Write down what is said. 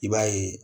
I b'a ye